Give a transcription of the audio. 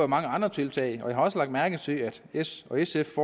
mange andre tiltag og jeg har også lagt mærke til at s og sf